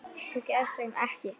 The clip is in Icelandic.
Þú þekkir hann ekki.